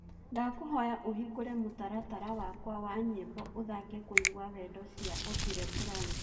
Ndakũhoya ũhĩngũre mũtaratara wakwa wa nyĩmboũthake kũĩgwa wendo cĩa otile brown